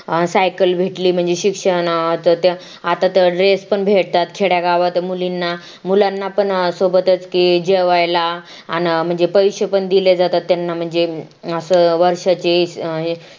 cycle भेटली म्हणजे शिक्षणात त्या आता तर Dress पण भेटतात खेड्या गावात मुलींना मुलांना पण सोबतच ते जेवायला आण म्हणजे पैसे पण दिले जातात त्यांना म्हणजे असं अं वर्षाचे